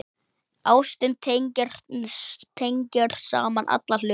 Ástin tengir saman alla hluti.